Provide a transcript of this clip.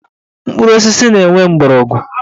Mkpụrụ osisi na-enwe mgbọrọgwụ